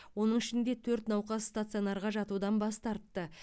оның ішінде төрт науқас стационарға жатудан бас тартты